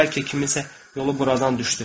Bəlkə kiminsə yolu buradan düşdü.